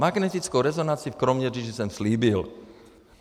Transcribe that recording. Magnetickou rezonanci v Kroměříži jsem slíbil.